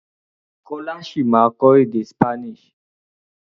Kọ́lá ṣì máa kọ́ èdè Spanish.